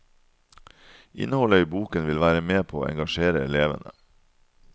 Innholdet i boken vil være med på å engasjere elevene.